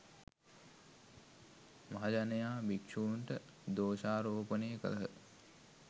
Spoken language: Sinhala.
මහජනයා භික්ෂූන්ට දෝෂාරෝපණය කළහ.